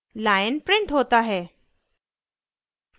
lion printed होता है